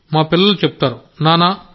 మా పిల్లలు చెప్తారు నాన్నా